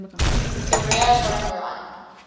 career home run